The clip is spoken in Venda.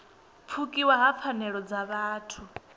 pfukiwa ha pfanelo dza vhuthu